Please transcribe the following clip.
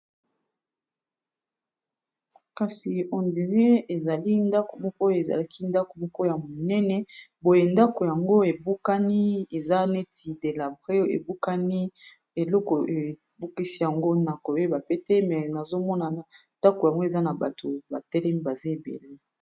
kasi endire ezali ndako mokoya ezalaki ndako moko ya monene boye ndako yango ebukani eza neti delabrex ebukani eloko ebukisi yango na kobeba pete me nazomonana ndako yango eza na bato batelem baza ebele